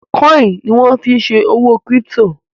kọ́ìnì ni wọ́n fí n ṣe òwò kírípítò